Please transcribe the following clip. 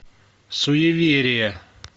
суеверия